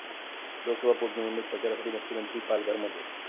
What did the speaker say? लोकसभा पोटनिवडणूक प्रचारासाठी मुख्यमंत्री पालघरमध्ये